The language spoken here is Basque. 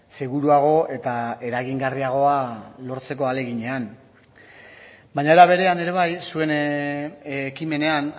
seguruago eta eragingarriagoa lortzeko ahaleginean baina era berean ere bai zuen ekimenean